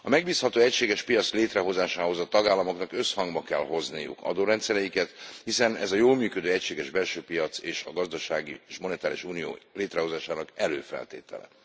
A megbízható egységes piac létrehozásához a tagállamoknak összhangba kell hozniuk adórendszereiket, hiszen ez a jól működő egységes belső piac és a gazdasági és monetáris unió létrehozásának előfeltétele.